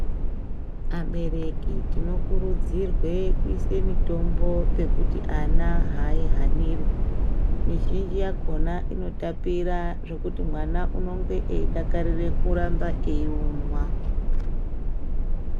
Abereki tinokurudzirwe kuise mutombo pejuti ana ahaihaniri mizhinji yakhona inotapira zvekuti mwana unenge eidakarire kuramba eiunwa.